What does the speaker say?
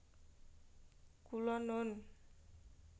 Kula nun